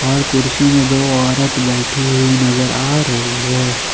और कुर्सी में दो औरत बैठी हुई नजर आ रही है।